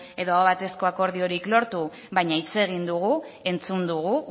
edo aho batezko akordiorik lortu baina hitz egin dugu entzun dugu